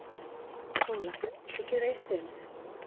SÓLA: Viltu gera eitt fyrir mig?